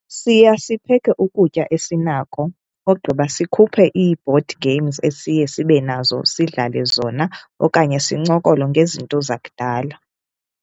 Siya sipheke ukutya esinako ogqiba sikhuphe iibhodi games esiye sibe nazo sidlale zona okanye sincokole ngezinto zakudala.